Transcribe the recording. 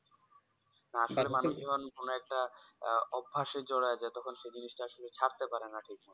কোনো একটা অভ্যাসে জোড়ায় যায় তখন সেই জিনিসটা আসলে ছাড়তে পারেনা